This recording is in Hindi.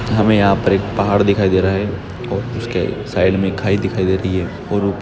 हमें यहां पर एक पहाड़ दिखाई दे रहा है और उसके साइड में खाई दिखाई दे रही है और--